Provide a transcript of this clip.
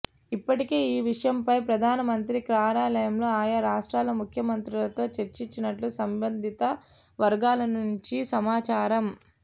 ఇప్పటికే ఈ విషయంపై ప్రధానమంత్రి కార్యాలయం ఆయా రాష్ట్రాల ముఖ్యమంత్రులతో చర్చించినట్లు సంబంధిత వర్గాల నుంచి సమాచారం